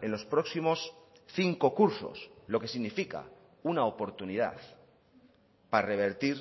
en los próximos cinco cursos lo que significa una oportunidad para revertir